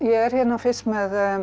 er hérna fyrst með